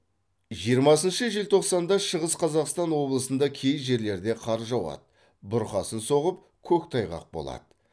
жиырмасыншы желтоқсанды шығыс қазақстан облысында кей жерлерде қар жауады бұрқасын соғып көктайғақ болады